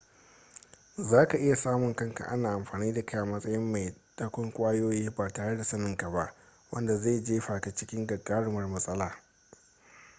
za ka iya samun kanka ana amfani da kai a matsayin mai dakon ƙwayoyi ba tare da saninka ba wanda zai jefa ka cikin gagarumar matsala